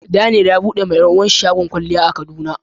Daniel ya bude ma yaruwan shi shagon kwalya a kaduna.